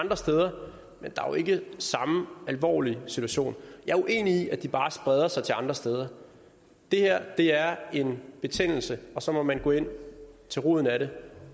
andre steder men der er jo ikke samme alvorlige situation jeg er uenig i at de bare spreder sig til andre steder det her er en betændelse og så må man gå ind til roden af den